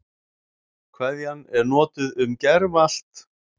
Kveðjan er notuð um gervallt